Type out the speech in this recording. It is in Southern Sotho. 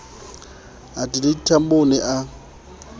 adelaide tambo o ne a